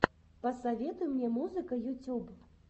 посоветуй мне музыка ютюб